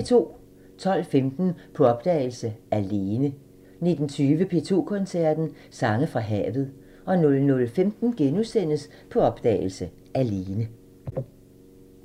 12:15: På opdagelse – Alene 19:20: P2 Koncerten – Sange fra havet 00:15: På opdagelse – Alene *